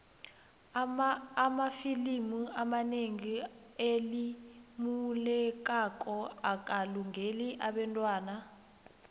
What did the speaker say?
amafilimu anelimu elilumelako akalungeli abentwana